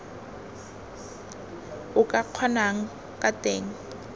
o ka kgonang ka teng